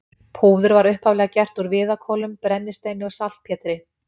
Púður var upphaflega gert úr viðarkolum, brennisteini og saltpétri.